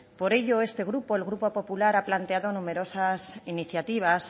por ello este grupo el grupo popular ha planteado numerosas iniciativas